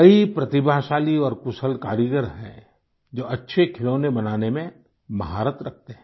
कई प्रतिभाशाली और कुशल कारीगर हैं जो अच्छे खिलौने बनाने में महारत रखते हैं